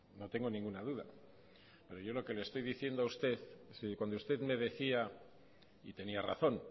no tengo ninguna duda pero yo lo que le estoy diciendo a usted si cuando usted me decía y tenía razón